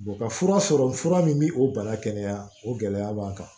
ka fura sɔrɔ fura min bi o bana kɛnɛya o gɛlɛya b'an kan